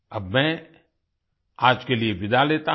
अब मैं आज के लिए विदा लेता हूँ